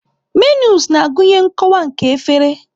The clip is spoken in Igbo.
Menus na-agụnye nkọwa nke efere.